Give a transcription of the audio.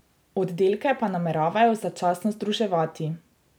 Oddelke pa nameravajo začasno združevati.